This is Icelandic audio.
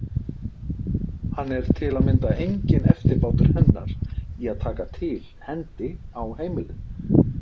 Hann er til að mynda enginn eftirbátur hennar í að taka til hendi á heimilinu.